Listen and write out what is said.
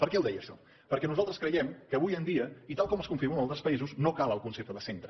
per què ho deia això perquè nosaltres creiem que avui en dia i tal com es configura en altres països no cal el concepte de centre